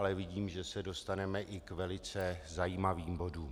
Ale vidím, že se dostaneme i k velice zajímavým bodům.